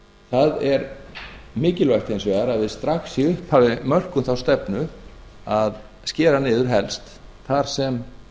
það er mikilvægt hins vegar að við strax í upphafi mörkum þá stefnu að skera niður helst þar sem